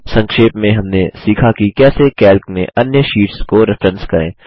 संक्षेप में हमने सीखा कि कैसे कैल्क में अन्य शीट्स को रेफ्रेरेंस करें